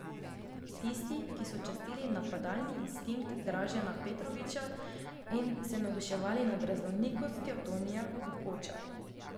Tisti, ki so častili napadalni instinkt Dražena Petrovića in se navduševali nad raznolikostjo Tonija Kukoča.